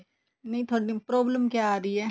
ਨਹੀਂ ਥੋਡੀ problem ਕਿ ਆ ਰਹੀ ਹੈ